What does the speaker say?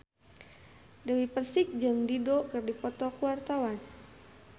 Dewi Persik jeung Dido keur dipoto ku wartawan